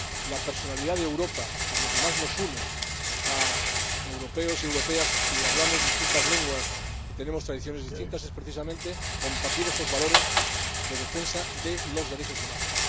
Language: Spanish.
La personalidad de Europa y lo que más une a europeos y europeas que hablamos distintas lenguas y tenemos tradiciones distintas es precisamente compartir esos valores de defensa de los derechos humanos.